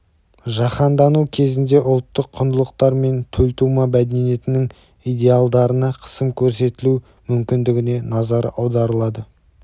жаһандану кезінде ұлттық құндылықтар мен төлтума мәдениетінің идеалдарына қысым көрсетілу мүмкіндігіне назар аударылды